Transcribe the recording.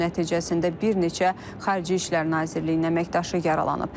Hücum nəticəsində bir neçə Xarici İşlər Nazirliyinin əməkdaşı yaralanıb.